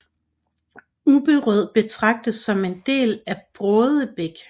Ubberød betragtes som en del af Brådebæk